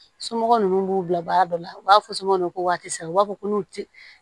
Somɔgɔ ninnu b'u bila baara dɔ la u b'a fɔ somɔ waati sera u b'a fɔ ko n'u ti